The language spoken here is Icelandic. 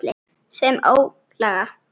Sem ólga.